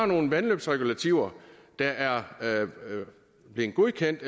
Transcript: nogle vandløbsregulativer der er blevet godkendt